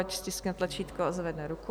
Ať stiskne tlačítko a zvedne ruku.